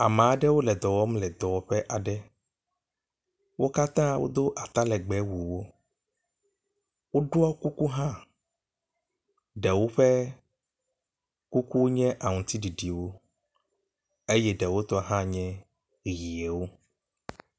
Ame aɖewo le dɔ wɔm le dɔwɔƒe aɖe. Wo katã wodo atalegbe wɔwo. Woɖɔ kuku hã. Ɖewo ƒe kuku nye aŋtiɖiɖiwo eye ɖewo tɔ hã ny ʋiwo.